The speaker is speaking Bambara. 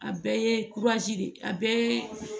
A bɛɛ ye de ye a bɛɛ